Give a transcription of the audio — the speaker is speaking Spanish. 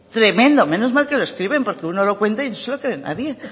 tremendo menos mal que lo escriben porque uno lo cuenta y no se lo cree nadie